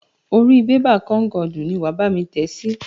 Orí bébà kónkọ̀dù ni wàá bámi tẹ sí.